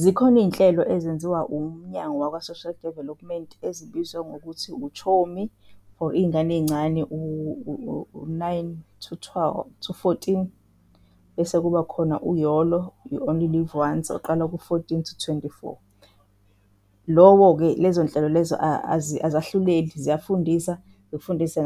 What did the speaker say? Zikhona iy'nhlelo ezenziwa umnyango waka-Social Development ezibizwa ngokuthi uChomi for iyingane eyincane u-nine to fourteen bese kubakhona uYOLO, ye-You Only Live Once oqala ku-fourteen to twenty-four lowo-ke. Lezonhlelo lezo azahluleli. Ziyafundisa zifundise